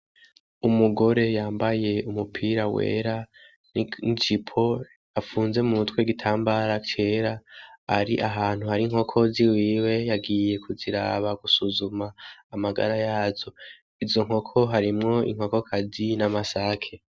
Umugore yambaye umupira wera n'ijipo, afunze mu mutwe igitambara cera ari ahantu hari inkoko ziwiwe yagiye kuziraba, gusuzuma amagara yazo, izo nkoko harimwo inkokazi n'amasake.